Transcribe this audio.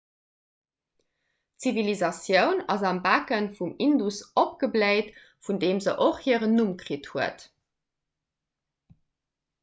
d'zivilisatioun ass am becke vum indus opgebléit vun deem se och hiren numm kritt huet